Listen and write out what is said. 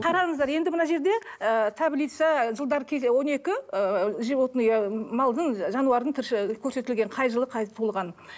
қараңыздар енді мына жерде ыыы таблица жылдар он екі ыыы животное малдың жануардың көрсетілген қай жылы қай туылған